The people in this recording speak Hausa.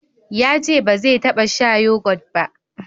yace ba zai taba sha yogot ba